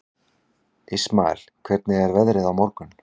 Ismael, hvernig er veðrið á morgun?